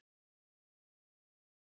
Grétar